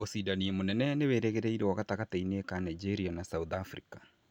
Ũcindani mũnene nĩwĩrĩgĩrĩirũo gatagatĩ-inĩ ka Nigeria na South Africa